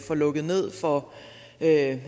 at